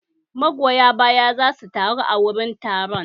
Magoya baya za su taru a wurin taron